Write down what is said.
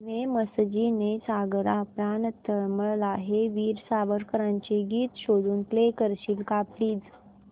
ने मजसी ने सागरा प्राण तळमळला हे वीर सावरकरांचे गीत शोधून प्ले करशील का प्लीज